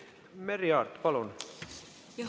Merry Aart, palun!